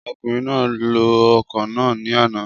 Ọkùnrin náà lo ọkọ̀ náà ní àná